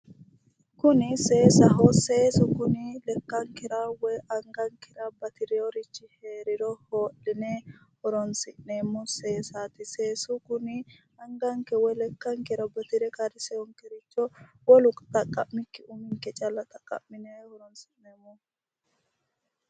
kuni seesaho seesu kini lekkankera woy anagankera batireeworichui heeriro hoo'line horonsi'nemmo seesatti seesu kuni anganke woy lekkankera batire qarriseyoore wolu xaqqammikki ninke callu xaqa'mine horonsi'neemo dogooti